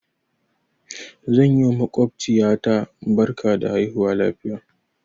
Zan yi wa maƙwabciya ta barka da haihuwa lafiya.